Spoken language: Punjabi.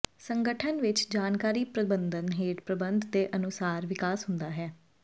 ਸੰਗਠਨ ਵਿਚ ਜਾਣਕਾਰੀ ਪ੍ਰਬੰਧਨ ਹੇਠ ਪ੍ਰਬੰਧ ਦੇ ਅਨੁਸਾਰ ਵਿਕਾਸ ਹੁੰਦਾ ਹੈ